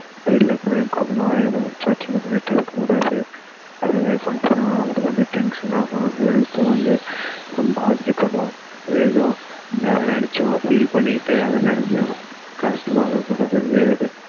வீட்டுல இருக்கவங்க கூடலாம் பிரச்சனை பண்ணிகிட்டு இருக்கக்கூடது அதுவே நமக்கு வந்து tension ஆகும் health உம் வந்து பாதிக்கப்படும் ஏதோ எதை நினைச்சும் feel பண்ணிக்கிட்டே எதை நினைச்சும் கஷ்டபட கூடாது அந்த மாதிரி